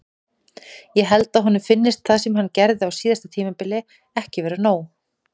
Ég held að honum finnist það sem hann gerði á síðasta tímabili ekki vera nóg.